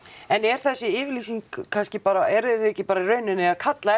en er þessi yfirlýsing kannski bara eruð þið ekki í rauninni að kalla